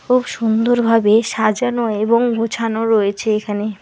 খুব সুন্দরভাবে সাজানো এবং গুছানো রয়েছে এখানে।